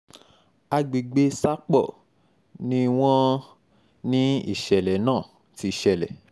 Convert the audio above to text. àgbègbè sápó ni wọ́n um ní ìṣẹ̀lẹ̀ náà ti ṣẹlẹ̀